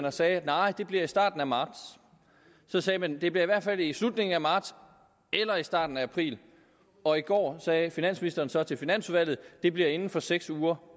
og sagde nej det bliver i starten af marts så sagde man det bliver i hvert fald i slutningen af marts eller i starten af april og i går sagde finansministeren så til finansudvalget at det bliver inden for seks uger